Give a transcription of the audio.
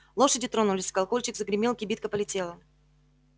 лошади тронулись колокольчик загремел кибитка полетела